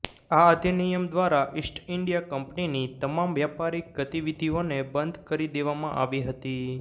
આ અધિનિયમ દ્વારા ઈસ્ટ ઈન્ડિયા કંપનીની તમામ વ્યાપારિક ગતિવિધિઓને બંધ કરી દેવામાં આવી હતી